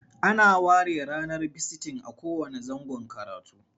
Ana ware ranar bisitin a kowanne zangon karatu.